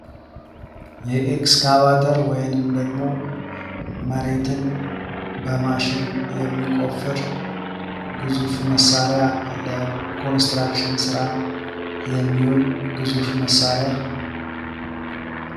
የኤክስካቫተር ወይንም መሬትን በማሽን የሚቆፍር ግዙፍ መሳሪያ የኮንስትራክሽን ስራ የሚውል ግዙፍ መሳሪያ።